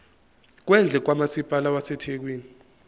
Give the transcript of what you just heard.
kwendle kamasipala wasethekwini